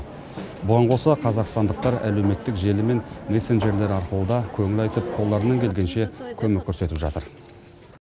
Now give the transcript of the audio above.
бұған қоса қазақстандықтар әлеуметтік желі мен мессенджерлер арқылы да көңіл айтып қолдарынан келгенше көмек көрсетіп жатыр